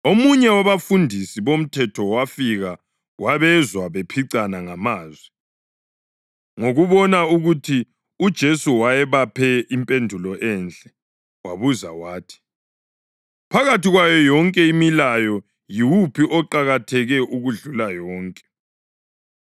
Omunye wabafundisi bomthetho wafika wabezwa bephicana ngamazwi. Ngokubona ukuthi uJesu wayebaphe impendulo enhle, wabuza wathi, “Phakathi kwayo yonke imilayo yiwuphi oqakatheke okudlula yonke?”